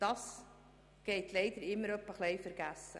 Das geht leider immer wieder vergessen.